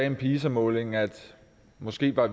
en pisa måling at vi måske ikke var